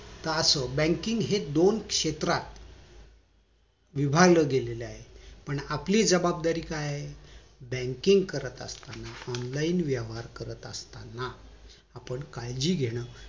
तर आज banking हे दोन क्षेत्रात विभागल गेलं आहे पण आपली जबाबदारी काय आहे banking करत असताना online व्यवहार करत असताना आपण काळजी घेणं